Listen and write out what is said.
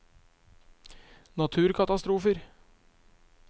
naturkatastrofer